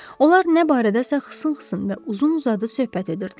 Onlar nə barədəsə xısın-xısın və uzun-uzadı söhbət edirdilər.